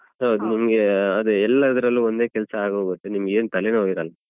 ಹೌದು ನಿಮ್ಗೆ ಅದೇ ಎಲ್ಲದ್ರಲ್ಲೂ ಒಂದೇ ಕೆಲ್ಸ ಆಗ್ ಹೋಗುತ್ತೆ ನಿಮ್ಗೆ ಏನ್ ತಲೆನೋವು ಇರಲ್ಲ.